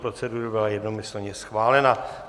Procedura byla jednomyslně schválena.